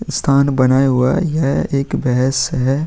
स्थान बना हुआ है। यह एक भैंस है।